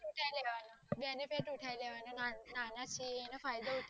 પુછાય લેવાના જેને તે પુછાય લેવાના નાના છે એનો ફાયદો ઉઠવાનું